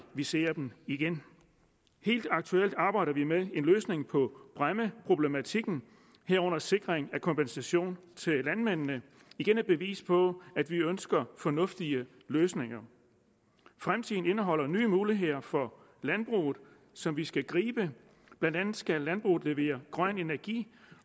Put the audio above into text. ser dem igen helt aktuelt arbejder vi med en løsning på bræmmeproblematikken herunder sikring af kompensation til landmændene igen et bevis på at vi ønsker fornuftige løsninger fremtiden indeholder nye muligheder for landbruget som vi skal gribe blandt andet skal landbruget levere grøn energi